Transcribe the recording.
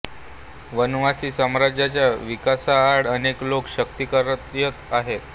वनवासी समाजाच्या विकासाआड अनेक लोक शक्ति कार्यरत आहेत